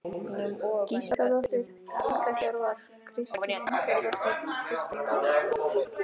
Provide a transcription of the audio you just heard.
Gísladóttir, Helga Hjörvar, Kristín Indriðadóttir, Kristín Ólafsdóttir